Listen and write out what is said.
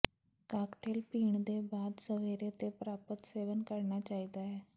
cocktail ਪੀਣ ਦੇ ਬਾਅਦ ਸਵੇਰੇ ਤੇ ਪ੍ਰਾਪਤ ਸੇਵਨ ਕਰਨਾ ਚਾਹੀਦਾ ਹੈ